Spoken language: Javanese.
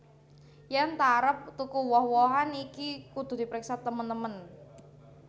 Yèn ta arep tuku woh wohan iki kudu dipriksa temen temen